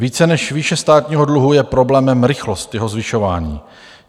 Více než výše státního dluhu je problémem rychlost jeho zvyšování.